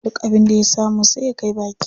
Duk abin da ya samu sai ya kai baki.